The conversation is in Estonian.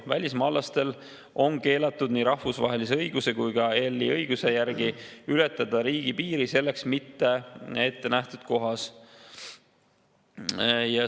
Välismaalastel on keelatud nii rahvusvahelise õiguse kui ka EL‑i õiguse järgi ületada riigipiiri selleks mitte ette nähtud kohas.